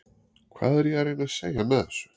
Hvað er ég að reyna að segja með þessu?